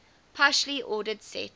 partially ordered set